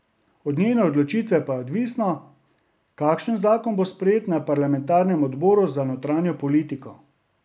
Od njene odločitve pa je odvisno, kakšen zakon bo sprejet na parlamentarnem odboru za notranjo politiko.